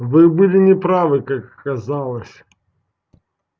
вы были не правы как оказалось